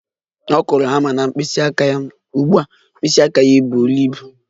Ọ kụrụ hama na mkpịsị aka ya, ugbu a mkpịsị aka ya buru ibu